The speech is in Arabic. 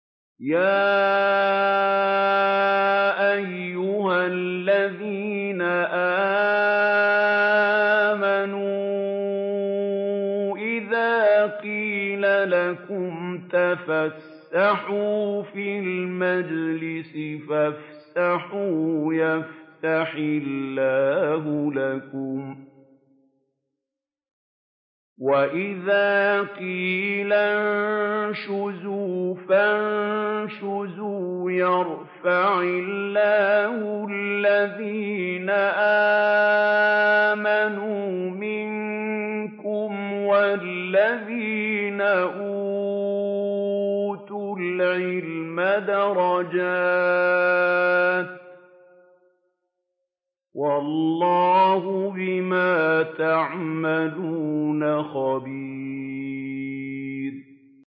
يَا أَيُّهَا الَّذِينَ آمَنُوا إِذَا قِيلَ لَكُمْ تَفَسَّحُوا فِي الْمَجَالِسِ فَافْسَحُوا يَفْسَحِ اللَّهُ لَكُمْ ۖ وَإِذَا قِيلَ انشُزُوا فَانشُزُوا يَرْفَعِ اللَّهُ الَّذِينَ آمَنُوا مِنكُمْ وَالَّذِينَ أُوتُوا الْعِلْمَ دَرَجَاتٍ ۚ وَاللَّهُ بِمَا تَعْمَلُونَ خَبِيرٌ